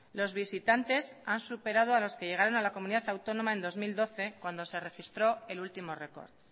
los visitantes han superado a los que llegaron a la comunidad autónoma en dos mil doce cuando se registró el último récord